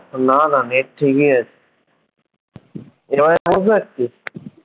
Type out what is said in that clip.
না না নেট ঠিকই আছে এবারে বুঝতে পারছিস